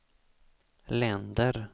länder